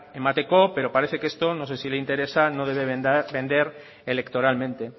emateko pero parece que esto no sé si le interesa no debe vender electoralmente